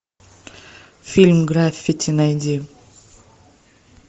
фильм граффити найди